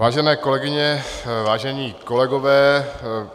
Vážené kolegyně, vážení kolegové.